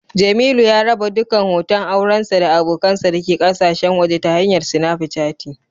Jemilu ya raba dukkan hoton aurensa da abokansa dake kasashen waje ta hanyar Snapichati